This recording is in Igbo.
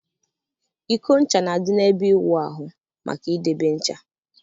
Iko ncha na-adị n'ebe ịwụ ahụ maka idebe ncha.